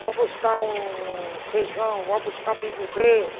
Vai buscar um feijão, vai buscar milho verde.